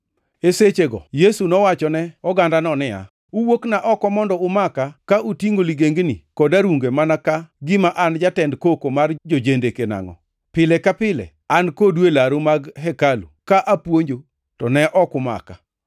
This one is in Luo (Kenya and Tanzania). E sechego Yesu nowachone ogandano niya, “Uwuokna oko mondo umaka ka utingʼo ligengni kod arunge mana ka gima an jatend koko mar jo-jendeke nangʼo? Pile ka pile an kodu e laru mag hekalu ka apuonjo, to ne ok umaka.